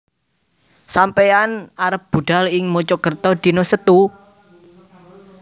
Sampeyan arep budhal ing Mojokerto dino Setu?